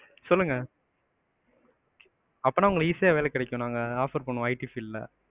சொல்லுங்க. அப்பனா உங்களுக்கு easy யா வேலை கிடைக்கும். நாங்க offer பண்ணுவோம் IT field ல.